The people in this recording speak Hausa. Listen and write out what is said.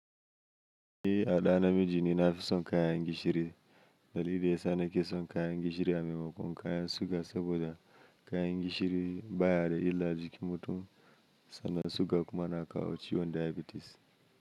Ni a ɗa na miji ne, na fi son kayan gishiri. Dalili da ya sa na ke son kayan gishiri a maimakon kayan suga saboda kayan gishiri baya da illa jikin mutum sannan suga kuma na kawo ciwon diabetes.